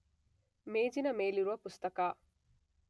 ಮೇಜಿನ ಮೇಲಿರುವ ಪುಸ್ತಕ